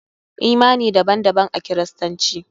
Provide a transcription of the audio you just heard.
Imani daban daban a kiristanci.